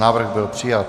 Návrh byl přijat.